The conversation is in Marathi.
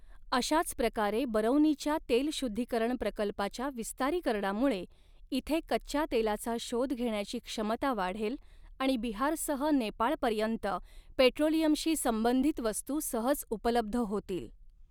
अशाच प्रकारे बरौनीच्या तेल शुद्धीकरण प्रकल्पाच्या विस्तारीकरणामुळे इथे कच्च्या तेलाचा शोध घेण्याची क्षमता वाढेल आणि बिहारसह नेपाळपर्यंत पेट्रोलियमशी संबंधित वस्तू सहज उपलब्ध होतील.